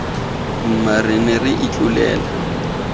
mma re ne re itlotlela